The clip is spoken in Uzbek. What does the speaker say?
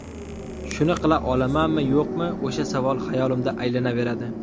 Shuni qila olamanmi, yo‘qmi, o‘sha savol xayolimda aylanaveradi.